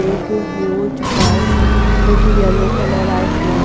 Big huge bus with yellow color i found.